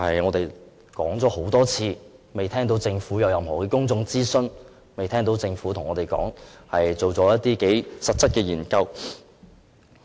我們已就此多次向政府提出，卻仍未聽到政府說會進行任何公眾諮詢或實質研究。